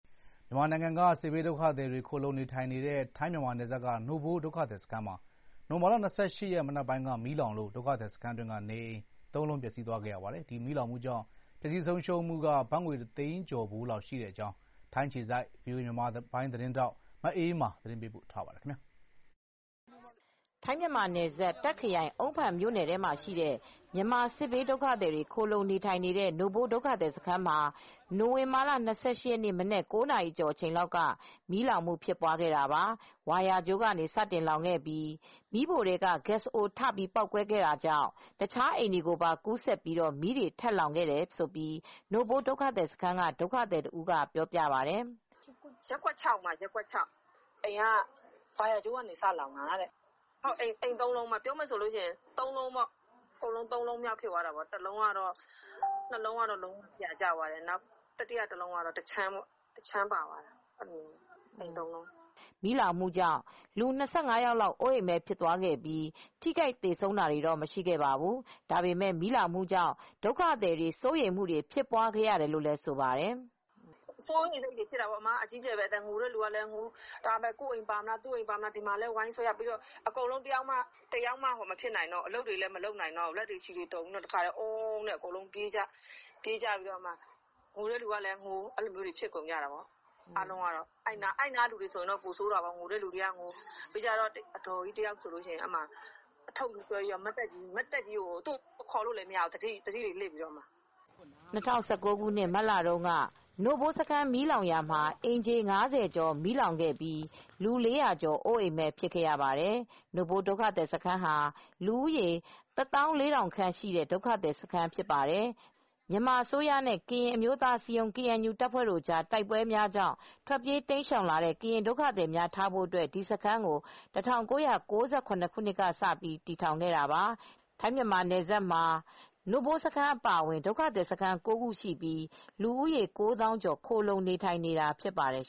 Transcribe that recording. မြန်မာနိုင်ငံက စစ်ဘေးဒုက္ခသည်တွေ ခိုလှုံ နေထိုင်နေတဲ့ ထိုင်း-မြန်မာနယ်စပ်က နို့ဖိုး ဒုက္ခသည်စခန်းမှာ နိုဝင်ဘာ ၂၈ ရက် မနက်ပိုင်းက မီးလောင်လို့ ဒုက္ခသည်စခန်းတွင်းက နေအိမ် ၃ လုံး ပျက်ဆီးသွားခဲ့ရပါတယ်။ ဒီမီးလောင်မှုကြောင့် ပျက်ဆီး ဆုံးရှုံးမှု ကတော့ ဘတ်ငွေ ၁ သိန်းကျော်ဖိုးလောက် ရှိတဲ့အကြောင်း ထိုင်းအခြေစိုက် ဗွီအိုအေ မြန်မာပိုင်း သတင်းထောက် မအေးအေးမာက သတင်းပေးပို့ထားပါတယ်။ ထိုင်း-မြန်မာနယ်စပ်၊ တာ့ခ်ခရိုင်၊ အုန်းဖန်မြို့နယ်ထဲမှာရှိတဲ့ မြန်မာစစ်ဘေး ဒုက္ခသည်တွေ ခိုလှုံနေထိုင်တဲ့ နို့ဖိုး ဒုက္ခသည်စခန်းမှာ နိုဝင်ဘာ ၂၈ ရက်၊ ကြာသပတေးနေ့ မနက် ၉ နာရီကျော်လောက်က မီးလောင်ခဲ့တာပါ။ စခန်းတွင်းက အိမ်တလုံးမှာ ဝါယာကြိုးကနေ စ လောင်ခဲ့တာပါ။ အဲ့ဒီနောက် မီးဖိုထဲက ဂက်စ်အိုး ပေါက်ကွဲခဲ့ပြီး တခြားအိမ်တွေကိုပါ ကူးဆက် လောင်ခဲ့တာ ဖြစ်တယ်လို့ နို့ဖိုးစခန်းအတွင်းက ဒုက္ခသည်တဦးက ပြောပါတယ်။ “ရပ်ကွက် ၆ မှာ ဖြစ်တာ။ အိမ်က ဝါယာကြိုးကနေ စလောင်တာတဲ့။ အိမ် ၃ လုံး လောင်သွားတယ်။ ပြောမယ်ဆိုရင် အိမ် ၃လုံးပေါ့။ အကုန်လုံး ၃ လုံး ဖြစ်သွားတယ်။ ၂ လုံးကတော့ ပြာကျသွားတယ်။ ၃ အိမ်မြောက် အလုံးကတော့ တခြမ်း ပါသွားတယ်။” အခုမီးကြောင့် လူ ၂၅ ယောက်လောက် အိုးအိမ်မဲ့ ဖြစ်သွားရပြီး ထိခိုက် သေဆုံးသူတော့ မရှိခဲ့ပါဘူး။ ဒုက္ခသည်တွေ ကတော့ အတော်လေး စိုးရိမ်ထိတ်လန့် ခဲ့ကြတယ်လို့လည်း သူက ပြောပါတယ်။ “စိုးရိမ်စိတ်တော့လည်း ဖြစ်တာပေါ့။ အကြီးအကျယ်ပဲ ငိုတဲ့သူကလည်း ငိုတယ်။ သူ့ အိမ်ပါမလား။ ကိုယ့်အိမ် ပါမလား ဆိုပြီး ဒီမှာလည်း ဝိုင်းဆွဲနေရတယ်။ ပြီးတော့ အကုန်လုံး တယောက်မှ အလုပ် မလုပ်နိုင်တော့ဘူး။ လက်တွေ ခြေတွေ တုန်ပြီး တဝုန်းဝုန်းနဲ့ ပြေးကြတာ။ ငိုတဲ့သူကလည်း ငို။ အဲ့နားကလူတွေကတော့ ပိုဆိုးတာပေါ့။ အဒေါ်ကြီးတယောက်ဆိုရင် အထုတ်ဆွဲပြီးတော့ မတ်တက်ကြီးကိုရပ်ပြီး သတိလစ်နေတာ။ သူ့ကို ခေါ်လို့လည်း မရဘူး။ အဲ့လိုဖြစ်နေတာ။” နို့ဖိုး ဒုက္ခသည်စခန်းမှာ ၂၀၁၉ ခုနှစ် မတ်လတုန်းကလည်း မီးလောင်ခဲ့ဖူးပြီး အိမ်ခြေ ၅၀ ကျော် မီးလောင်ခဲ့သလို၊ လူ ၄၀၀ ကျော် အိုးအိမ်မဲ့ ဖြစ်ခဲ့ရပါတယ်။ နို့ဖိုး ဒုက္ခသည်စခန်းဟာ လူဦးရေ ၁၄,၀၀၀ ခန့်ရှိတဲ့ ဒုက္ခသည်စခန်းကြီး တခု ဖြစ်ပါတယ်။ မြန်မာအစိုးရနဲ့ ကရင်အမျိုးသားအစည်းအရုံး (KNU) တပ်ဖွဲ့တွေအကြား တိုက်ပွဲတွေကြောင့် ထွက်ပြေး တိမ်းရှောင်လာတဲ့ ကရင်ဒုက္ခသည်တွေကို ထားဖို့ ဒီစခန်းကို ၁၉၉၇ ခုနှစ်ကစပြီး တည်ထောင်ခဲ့တာပါ။ ထိုင်း−မြန်မာနယ်စပ်မှာ နို့ဖိုးစခန်း အပါအဝင် ဒုက္ခသည်စခန်း ၉ ခု ရှိပြီး ဒုက္ခသည် ၉ သောင်းကျော် ခိုလှုံနေထိုင်နေတာ ဖြစ်ပါတယ်